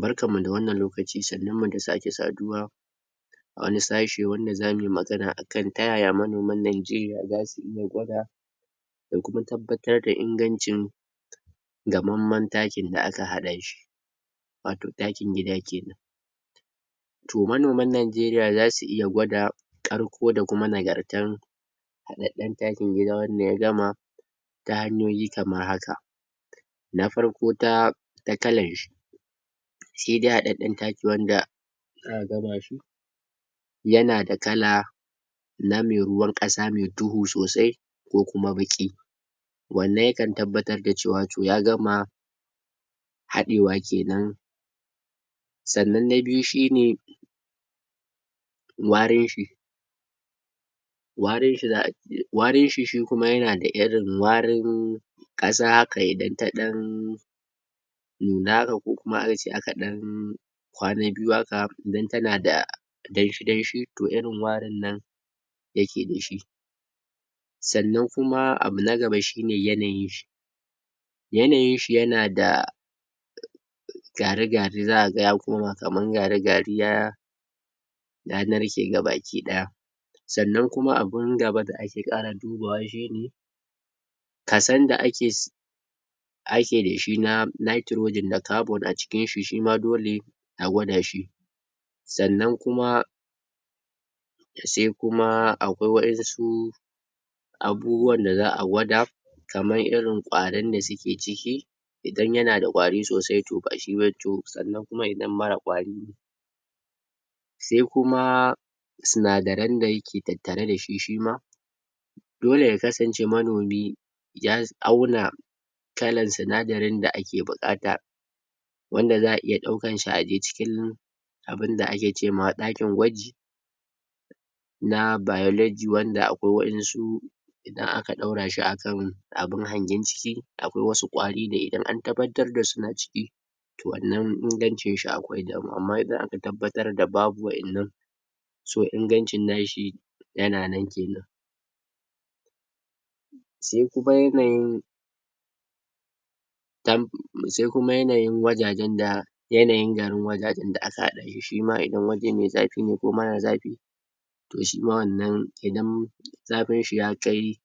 Barkan mu da wannan lokaci, sannun mu da sake saduwa wane sashi wanda za mu yi magana akan ta yaya manoman Najeriya za su iya gwada da kuma tabbatar da ingancin gammanman taki da aka hada shi wato takin gida kenan Toh manoman Najeriya za su iya gwada karko da kuma nagartan haddeden takin gida wadda ya gama, ta hanyoyi kaman haka Na farko, ta ta kalan shi shi dai haddeden taki wanda za gaba shi, yana da kala na me ruwan kasa, me duhu sosai ko kuma baki wannan yakan tabbatar da cewa ya toh ya gama hadewa kenan. Sannan na biyu shi ne warin shi warin shi za a, wrin shi kuma yana da warin kasa haka idan ta nuna da ko kuma akace a ka dan kwana biyu haka, idan tana da danshi danshi toh irin arin nan yake da shi. sannan kuma abu na gaba shi ne yanayin shi. Yanayin shi yana da gari gari za a ga ya koma kaman gari gari, ya ya narke gabaki daya sannan kuma abun gaba da ake kara dubawa shi ne kasan da ake ake da shi na nitrogen da carbon a jikin shi, shima dole a guada shi. Sannan kuma, se kuma akwai wa su abubuwan da za a gwada kaman irin kwarin da suke ciki, don yana da kwari sosai to ba shi sannan kuma idan marar kwari Sai kuma, sunadarai da yake tattare da shi, shima dole ya kasance manomi ya auna kalan sunadarin da ake bukata wanda za a iya daukan shi a je cikin abun da ake ce ma daikin gwaji na biology wanda akwai wadansu idan aka daura shi akan abun hangen ciki, akwai wasu kwari idan an tabbatar da suna ciki, Toh wannan ingancin shi akwai tabbatar da babu wadanan so ingancin nashi yana nan kenan Sai kuma yanayin ta, sai kuma yanayin wajajen da yanayin garin wajajen da aka hada, shima idan waje me zafi ne ko mara zafi, toh shima wannan, idan zafin shi ya kai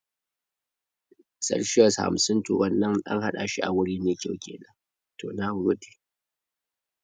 celcuis hamsin toh wannan hada shi a wuri me kyau kenan